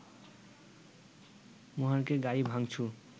মহাড়কে গাড়ি ভাংচুর